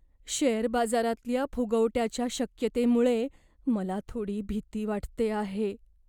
Share बाजारातल्या फुगवट्याच्या शक्यतेमुळे मला थोडी भीती वाटते आहे.